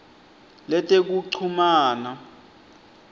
letekuchumana